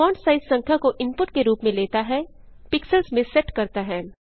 font size संख्या को input के रूप में लेता हैpixels में सेट करता है